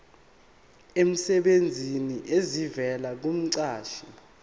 emsebenzini esivela kumqashi